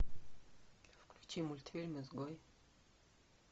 включи мультфильм изгой